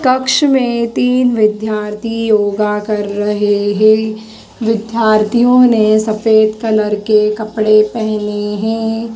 कक्ष में तीन विद्यार्थी योगा कर रहे हैं विद्यार्थियों ने सफेद कलर के कपड़े पहने हैं।